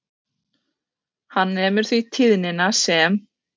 Hann nemur því tíðnina sem